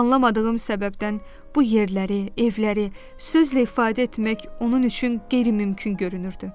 Anlamadığım səbəbdən bu yerləri, evləri sözlə ifadə etmək onun üçün qeyri-mümkün görünürdü.